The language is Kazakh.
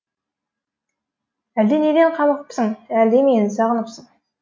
әлде неден қамығыпсың әлде мені сағыныпсың